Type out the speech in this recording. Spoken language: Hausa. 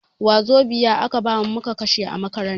Wazobia a ka bamu mu kashe a makaranta.